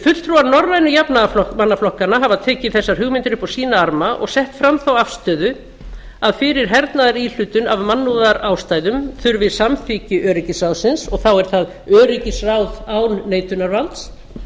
fulltrúar norrænu jafnaðarmannaflokkanna hafa tekið þessar hugmyndir upp á sína arma og sett fram þá afstöðu að fyrir hernaðaríhlutun af mannúðarástæðum þurfi samþykki öryggisráðsins og þá er það öryggisráð án neitunarvalds